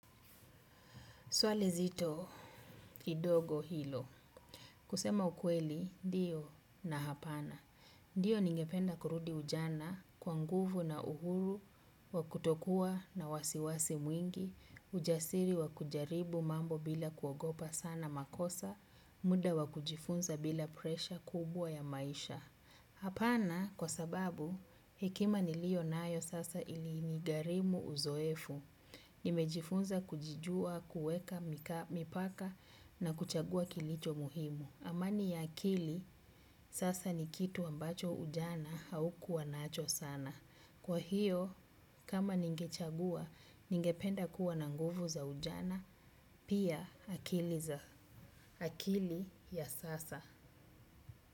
Swali zito kidogo hilo. Kusema ukweli dio na hapana. Dio ningependa kurudi ujana kwa nguvu na uhuru, wakutokuwa na wasiwasi mwingi, ujasiri wakujaribu mambo bila kuogopa sana makosa, muda wakujifunza bila presha kubwa ya maisha. Hapana kwa sababu hekima nilio nayo sasa ili nigarimu uzoefu. Nimejifunza kujijua, kueka, mipaka na kuchagua kilicho muhimu. Amani ya akili sasa ni kitu ambacho ujana haukuwa nacho sana. Kwa hiyo kama ningechagua, ningependa kuwa na nguvu za ujana. Pia akili ya sasa.